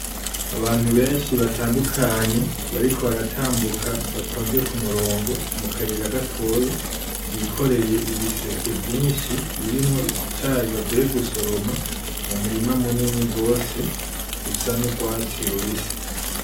Abantu benshi batandukanye bariko baratambuka batonze kumurongo mukayira gatoya, bikoreye ibiseke vyinshi birimwo icayi bavuye gusoroma mu murima munini gose. Rusa n'urwatsi rubisi.